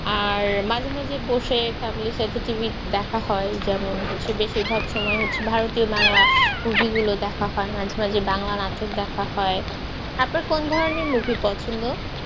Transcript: আর মাঝে-মাঝে বসে family র সাথে TV দেখা হয় যেমন হচ্ছে বেশিরভাগ সময় হচ্ছে ভারতীয় বাংলা movie গুলো দেখা হয় মাঝে মাঝে বাংলা নাটক দেখা হয় আপনার কোন ধরনের movie পছন্দ?